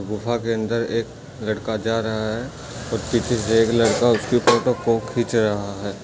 गुफा के अंदर एक लड़का जा रहा है और पीछे से एक लड़का उसकी फ़ोटो को खिच रहा है।